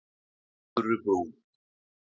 Furubrún